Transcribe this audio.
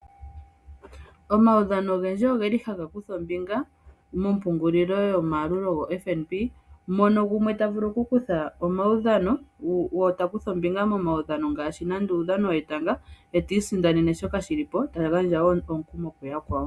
Omawudhano ogendji ogeli haga kutha ombinga mompungulilo yomayalulo goFNB mono gumwe ta vulu oku kutha omaudhano wo, ta kutha ombinga ngaashi muudhano wetanga, etiisindanene shoka shili po, ta gandja wo omukumo kuyakwawo.